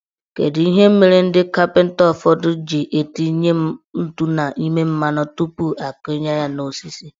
Kedu ihe mere ndị kapịnta ụfọdụ ji etinye ntụ n' ime mmanụ tupu akunye ya n'osisi?